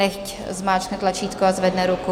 Nechť zmáčkne tlačítko a zvedne ruku.